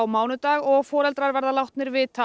mánudag og foreldrar verða látnir vita